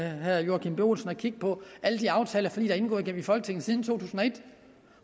herre joachim b olsen at kigge på alle de aftaler og forlig der er indgået i folketinget siden to tusind og et